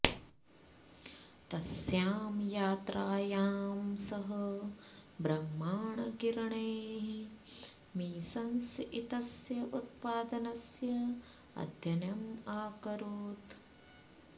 तस्यां यात्रायां सः ब्रह्माण्डकिरणैः मेसन्स् इत्यस्य उत्पादनस्य अध्ययनम् अकरोत्